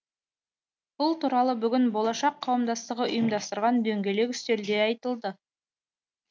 бұл туралы бүгін болашақ қауымдастығы ұйымдастырған дөңгелек үстелде айтылды